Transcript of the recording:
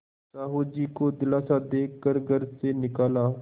साहु जी को दिलासा दे कर घर से निकाला